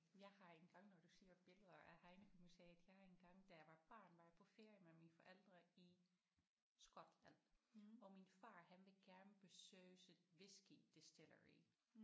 Jeg har engang når du siger billeder af Heineken museet jeg har engang da jeg var barn var jeg på ferie med mine forældre i Skotland og min far han ville gerne besøge sådan whiskey distillery